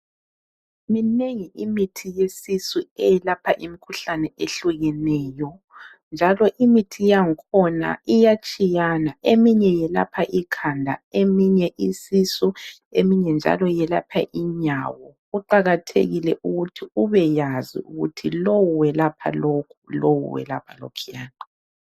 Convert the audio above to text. Minengi imithi yesisu eyelapha imikhuhlane ehlukeneyo njalo imithi yakhona iyatshiyana eminye yelapha ikhanda, eminye isisu, eminye njalo yelapha inyawo. Kuqakathekile ukuthi ubekwazi ukuthi lo welapha lokhu, lowu welapha lokhuyana.